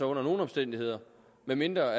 under nogen omstændigheder medmindre